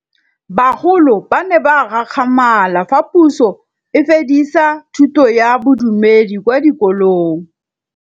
Bagolo ba ne ba gakgamala fa Pusô e fedisa thutô ya Bodumedi kwa dikolong.